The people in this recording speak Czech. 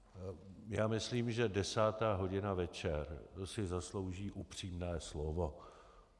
Já myslím, že desátá hodina večer, to si zaslouží upřímné slovo.